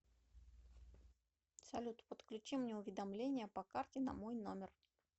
салют подключи мне уведомление по карте на мой номер